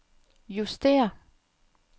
justér